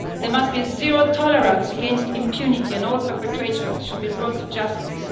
There must be zero tolerance against impunity, and all perpetrators should be brought to justice.